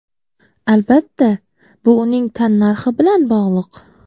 Albatta, bu uning tannarxi bilan bog‘liq.